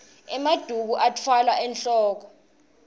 emaduku atfwalwa enwoko